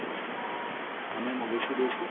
হ্যাঁ ma'am অবশ্যই রয়েছে।